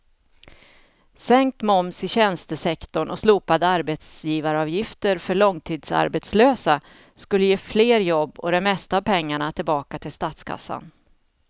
Sänkt moms i tjänstesektorn och slopade arbetsgivaravgifter för långtidsarbetslösa skulle ge fler jobb och det mesta av pengarna tillbaka till statskassan.